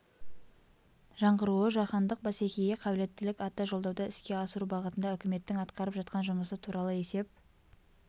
жаңғыруы жаһандық бәсекеге қабілеттілік атты жолдауды іске асыру бағытында үкіметтің атқарып жатқан жұмысы туралы есеп